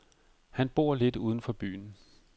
Han bor lidt uden for byen.